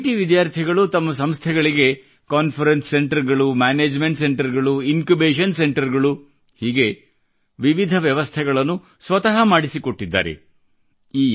IIT ವಿದ್ಯಾರ್ಥಿಗಳು ತಮ್ಮ ಸಂಸ್ಥೆಗಳಿಗೆ ಕಾನ್ಫರನ್ಸ ಸೆಂಟರ್ಗಳು ಮ್ಯಾನೇಜ್ಮೆಂಟ್ ಸೆಂಟರ್ಗಳು ಇನ್ ಕ್ಯುಬೇಶನ್ ಸೆಂಟರ್ಗಳು ಹೀಗೆ ವಿವಿಧ ವ್ಯವಸ್ಥೆಗಳನ್ನು ಸ್ವತ ಮಾಡಿಸಿ ಕೊಟ್ಟಿದ್ದಾರೆ